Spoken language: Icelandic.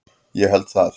Ég held að það